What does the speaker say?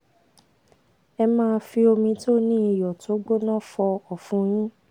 ẹ máa fi omi to ni iyo tó gbóná fo ọ̀fun yin